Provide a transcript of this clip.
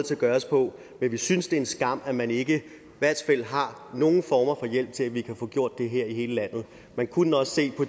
kan gøres på men vi synes det er en skam at man ikke har nogen former for hjælp til at vi kan få gjort det her i hele landet man kunne også se på